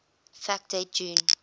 fact date june